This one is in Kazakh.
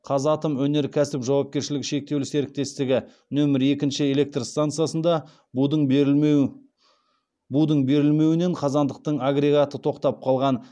қазатомөнеркәсіп жауапкершілігі шектеулі серіктестігі нөмірі екінші нөмірі екінші электр стансасында будың берілмеуінен қазандықтың агрегаты тоқтап қалған